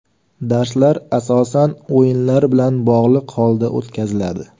Darslar asosan o‘yinlar bilan bog‘liq holda o‘tkaziladi.